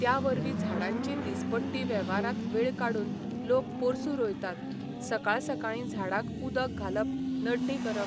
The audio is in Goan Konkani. त्या वरवीं झाडांची दिसपट्टी वेवारांत वेळ काडून लोक पोरसूं रोयतात सकाळ सकाळीं झाडांक उदक घालप नडणी करप